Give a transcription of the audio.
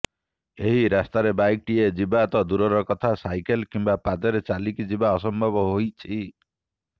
ଏହି ରାସ୍ତାରେ ବାଇକଟିଏ ଯିବା ତ ଦୂରର କଥା ସାଇକେଲ କିମ୍ବା ପାଦରେ ଚାଲିକି ଯିବା ଅସମ୍ଭବ ହୋଇଛି